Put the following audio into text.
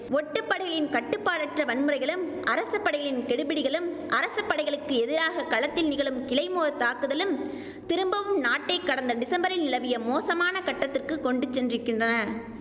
ஒட்டுப்படையின் கட்டுப்பாடற்ற வன்முறைகளும் அரச படைகளின் கெடுபிடிகளும் அரச படைகளுக்கு எதிராக களத்தில் நிகழும் கிளைமோர் தாக்குதல்களும் திரும்பவும் நாட்டை கடந்த டிசம்பரில் நிலவிய மோசமான கட்டத்திற்குக் கொண்டு சென்றிருக்கின்றன